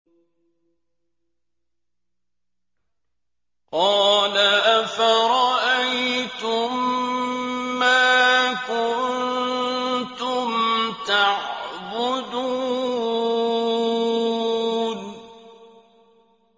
قَالَ أَفَرَأَيْتُم مَّا كُنتُمْ تَعْبُدُونَ